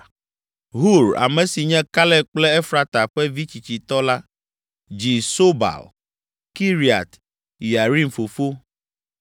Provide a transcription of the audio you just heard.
Hur, ame si nye Kaleb kple Efrata ƒe vi tsitsitɔ la, dzi Sobal, Kiriat Yearim fofo,